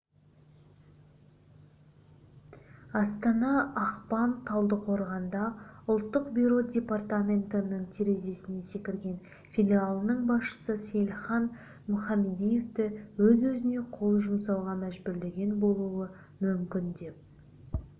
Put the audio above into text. астана ақпан талдықорғанда ұлттық бюро департаментінің терезесінен секірген филиалының басшысы сейлхан мүхамадиевті өз-өзіне қол жұмсауға мәжбүрлеген болуы мүмкін деп